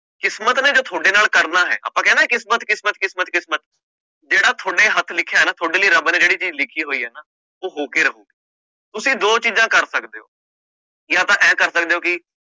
ਕਿਸਮਤ ਨੇ ਜੋ ਤੁਹਾਡੇ ਨਾਲ ਕਰਨਾ ਹੈ ਆਪਾਂ ਕਿਹਾ ਨਾ ਕਿਸਮਤ, ਕਿਸਮਤ, ਕਿਸਮਤ, ਕਿਸਮਤ ਜਿਹੜਾ ਤੁਹਾਡੇ ਹੱਥ ਲਿਖਿਆ ਨਾ ਤੁਹਾਡੇ ਲਈ ਰੱਬ ਨੇ ਜਿਹੜੀ ਚੀਜ਼ ਲਿਖੀ ਹੋਈ ਹੈ ਨਾ, ਉਹ ਹੋ ਕੇ ਰਹੂ, ਤੁਸੀਂ ਦੋ ਚੀਜ਼ਾਂ ਕਰ ਸਕਦੇ ਹੋ ਜਾਂ ਤਾਂ ਇਉਂ ਕਰ ਸਕਦੇ ਹੋ ਕਿ